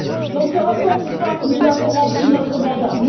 Dans ce rapport, je crois que nous avons rempli notre mandat.